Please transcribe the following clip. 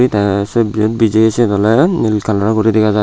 hide se bijeyi sin ole nil color guri dega jiy.